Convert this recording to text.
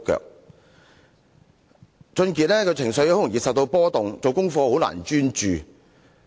王俊傑的情緒極易受到波動，難以專注做功課。